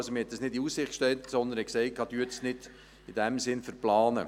Man hat es nicht in Aussicht gestellt, sondern gesagt, man solle es nicht verplanen.